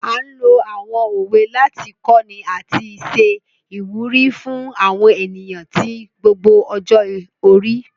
A n lo àwọn òwe láti kọni àti ṣe ìwúrí fún àwọn ènìyàn ti gbogbo ọjọ́-orí.